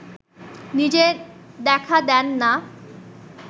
নিজে দেখা দেন না